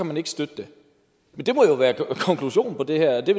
man ikke støtte det det må jo være konklusionen på det her det